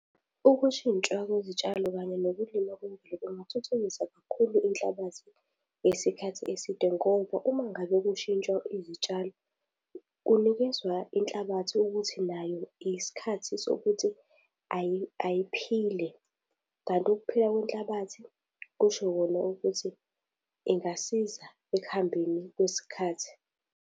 Ukushintshwa kwezitshalo kanye nokulima kwemvelo kungathuthukisa kakhulu inhlabathi yesikhathi eside ngoba uma ngabe kushintshwa izitshalo kunikezwa inhlabathi ukuthi nayo isikhathi sokuthi ayiphile, kanti ukuphila kwenhlabathi kusho kona ukuthi ingasiza ekuhambeni kwesikhathi.